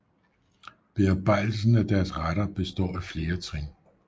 Bearbejdelsen af deres retter består af flere trin